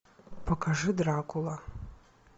покажи дракула